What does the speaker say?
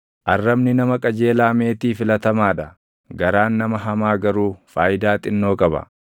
Arrabni nama qajeelaa meetii filatamaa dha; garaan nama hamaa garuu faayidaa xinnoo qaba.